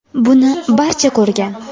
Buni barcha ko‘rgan.